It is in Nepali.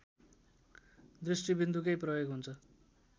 दृष्टिबिन्दुकै प्रयोग हुन्छ